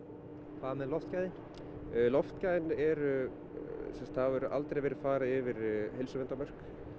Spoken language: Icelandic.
hvað með loftgæðin loftgæðin eru það hefur aldrei verið farið yfir heilsuverndarmörk